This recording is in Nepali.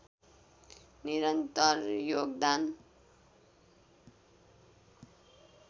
निरन्तर योगदान